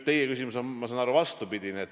Teie küsimus on, ma saan aru, vastupidine.